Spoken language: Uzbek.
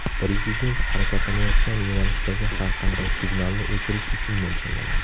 Prezident harakatlanayotgan yo‘nalishdagi har qanday signalni o‘chirish uchun mo‘ljallangan.